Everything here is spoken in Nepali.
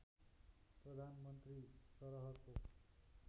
प्रधानमन्त्री सरहको